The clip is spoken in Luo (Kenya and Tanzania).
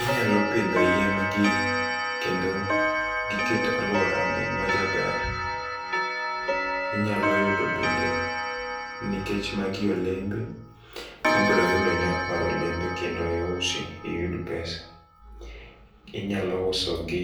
Inyalo pidho yien gi kendo giket aluora onen majaber . Inyalo yudo bende nikech magi olembe ibro yudo nyak mar olembe kendo iuso iyud pesa . Inyalo uso gi